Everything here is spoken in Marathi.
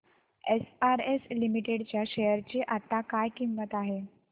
एसआरएस लिमिटेड च्या शेअर ची आता काय किंमत आहे